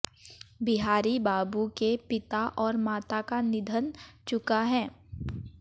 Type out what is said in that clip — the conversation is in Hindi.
बिहारी बाबू के पिता और माता का निधन चुका है